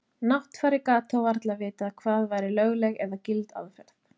Náttfari gat þó varla vitað hvað væri lögleg eða gild aðferð.